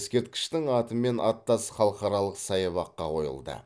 ескерткіштің атымен аттас халықаралық саябаққа қойылды